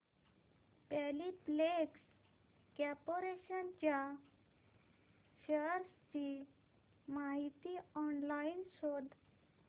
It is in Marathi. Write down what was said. पॉलिप्लेक्स कॉर्पोरेशन च्या शेअर्स ची माहिती ऑनलाइन शोध